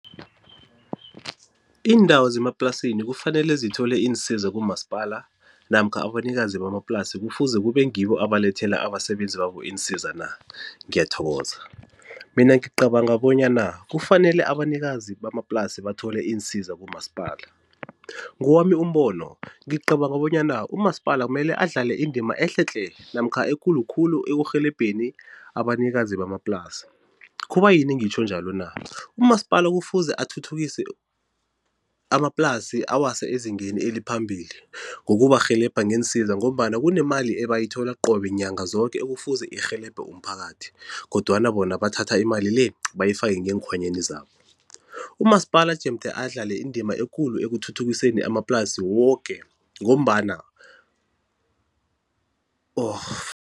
Iindawo zemaplasini kufanele zithole iinsiza kumasipala namkha abanikazi bamaplasi kufuze kube ngibo abalethela abasebenzi babo iinsiza na? Ngiyathokoza, mina ngicabanga bonyana kufanele abanikazi bamaplasi bathole iinsiza kumasipala. Ngowami umbono ngicabanga bonyana umasipala kumele adlale indima ehle tle namkha ekulu khulu ekurhelebheni abanikazi bamaplasi, kubayini ngitjho njalo na? Umasipala kufuze athuthukise amaplasi awase ezingeni eliphambili ngokubarhelebha ngeensiza ngombana kunemali ebayithola qobe nyanga zoke ekufuze irhelebhe umphakathi kodwana bona bathatha imali le bayifake ngeenkhwanyeni zabo. Umasipala jemde adlale indima ekulu ekuthuthukiseni amaplasi woke ngombana